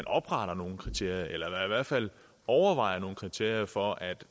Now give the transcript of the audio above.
opretter nogle kriterier eller i hvert fald overvejer nogle kriterier for at